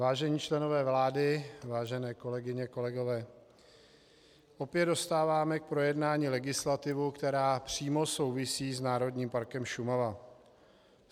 Vážení členové vlády, vážené kolegyně, kolegové, opět dostáváme k projednání legislativu, která přímo souvisí s Národním parkem Šumava.